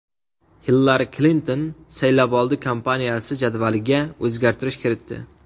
Hillari Klinton saylovoldi kampaniyasi jadvaliga o‘zgarish kiritdi.